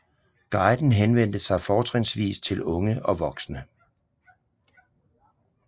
Guiden henvendte sig fortrinsvis til unge og voksne